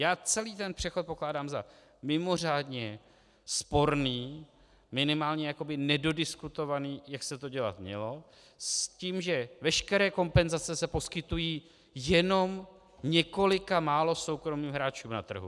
Já celý ten přechod pokládám za mimořádně sporný, minimálně jakoby nedodiskutovaný, jak se to dělat mělo, s tím, že veškeré kompenzace se poskytují jenom několika málo soukromým hráčům na trhu.